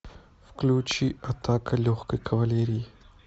включи атака легкой кавалерии